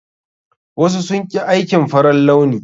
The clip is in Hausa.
Wasu sun ƙi aikin farar launi.